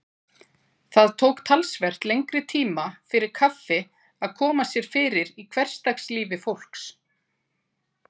Það tók talsvert lengri tíma fyrir kaffi að koma sér fyrir í hversdagslífi fólks.